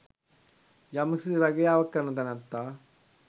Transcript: යම්කිසි රැකියාවක් කරන තැනැත්තා